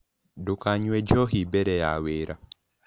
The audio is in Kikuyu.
Ndũkanyũe njohĩ bere ya wĩra